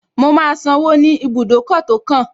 Mo máa sanwó ní ibùdókọ̀ tó kàn